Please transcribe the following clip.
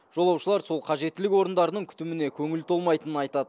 жолаушылар сол қажеттілік орындарының күтіміне көңілі толмайтынын айтады